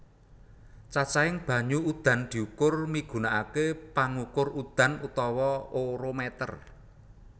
Cacahing banyu udan diukur migunakaké pangukur udan utawa orometer